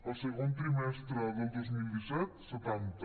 el segon trimestre del dos mil disset setanta